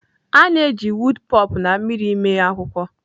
A na-eji woop pulp na mmiri mee akwụkwọ.